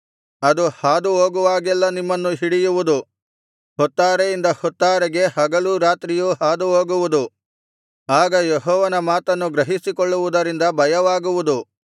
ಅದು ಹಾದುಹೋಗುವಾಗೆಲ್ಲಾ ನಿಮ್ಮನ್ನು ಹಿಡಿಯುವುದು ಹೊತ್ತಾರೆಯಿಂದ ಹೊತ್ತಾರೆಗೆ ಹಗಲು ರಾತ್ರಿಯೂ ಹಾದುಹೋಗುವುದು ಆಗ ಯೆಹೋವನ ಮಾತನ್ನು ಗ್ರಹಿಸಿಕೊಳ್ಳುವುದರಿಂದ ಭಯವಾಗುವುದು